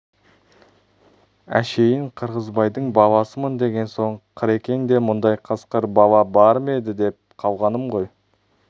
әшейін қырғызбайдың баласымын деген соң қырекеңде мұндай қасқыр бала бар ма еді деп қалғаным ғой